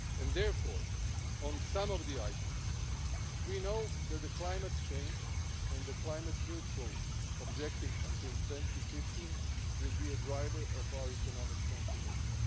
Therefore, on some of the items, we know that climate change and the climate neutral objective until 2015 will be the driver of our economic transformation.